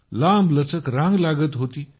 लांबलचक रांग लागत होती